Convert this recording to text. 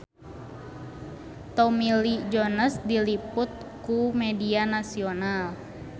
Tommy Lee Jones diliput ku media nasional